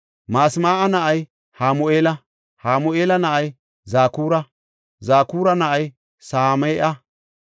Masmaa7a na7ay Hamu7eela; Hamu7eela na7ay Zakura; Zakura na7ay Same7a.